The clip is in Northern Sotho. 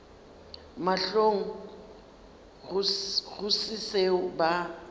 mahlong go se seo ba